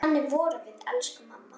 Þannig vorum við, elsku mamma.